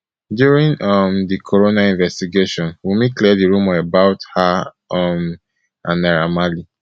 during um di coroner investigation wunmi clear di rumour about her um and naira marley